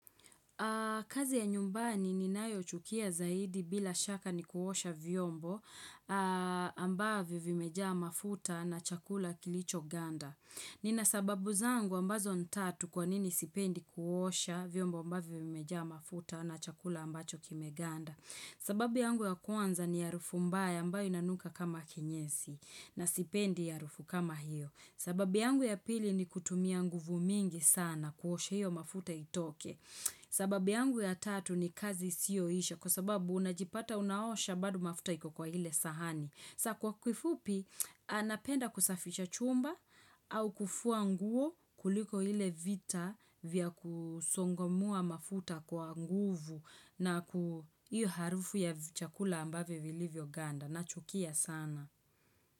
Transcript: Kazi ya nyumbani ninayo chukia zaidi bila shaka ni kuosha vyombo ambavyo vimejaa mafuta na chakula kilicho ganda. Ninasababu zangu ambazo nitatu kwanini sipendi kuosha vyombo ambavyo vimejaa mafuta na chakula ambacho kimeganda. Sababu yangu ya kwanza ni ya harufu mbaya ambayo inanuka kama kinyesi na sipendi harufu kama hiyo. Sababu yangu ya pili ni kutumia nguvu mingi sana kuosha hiyo mafuta itoke. Sababi yangu ya tatu ni kazi isiyo isha kwa sababu unajipata unaosha bado mafuta iku kwa ile sahani. Sa kwa kifupi napenda kusafisha chumba au kufua nguo kuliko ile vita vya kusongomoa mafuta kwa nguvu na ku hiyo harufu ya chakula ambavyo vilivyo ganda nachukia sana.